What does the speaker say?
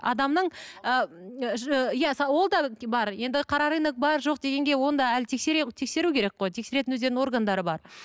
адамның ы иә ол да бар енді қара рынок бар жоқ дегенге оны әлі тексеру керек қой тексеретін өздерінің органдары бар